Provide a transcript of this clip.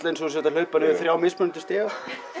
eins og þú sért að hlaupa niður þrjá mismunandi stiga